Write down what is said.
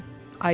Ayı dedi.